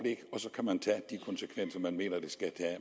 så kan man tage de konsekvenser man mener der skal